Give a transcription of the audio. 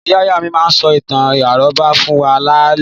Ìyá ìyá mi máa ń sọ ìtàn àrọ́bá fún wa lálaalẹ́.